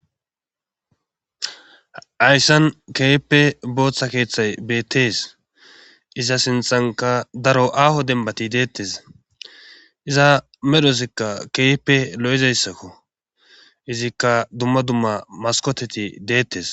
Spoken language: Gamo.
Hayssan keehippe booththa keeththay beettees isa sinthanka daro aaho denbati deettes iza medhosikka kepe lo7izayssakko izikka dumma dumma maskoteti deettes